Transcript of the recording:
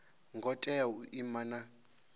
ngo tea u ima na